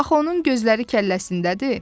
Axı onun gözləri kəlləsindədir.